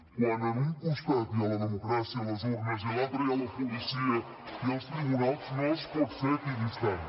quan en un costat hi ha la democràcia les urnes i a l’altre hi ha la policia i els tribunals no es pot ser equidistant